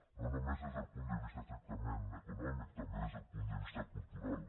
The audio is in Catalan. no només des del punt de vista estrictament econòmic també des del punt de vista cultural